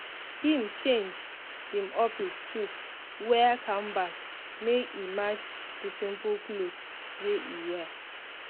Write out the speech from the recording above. him change him office shoe wear canvas make e match the simple cloth wey e wear.